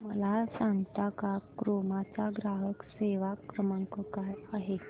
मला सांगता का क्रोमा चा ग्राहक सेवा क्रमांक काय आहे